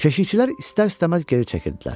Keşiyçilər istər-istəməz geri çəkildilər.